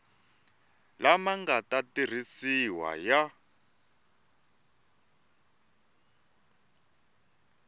lama nga ta tirhisiwa ya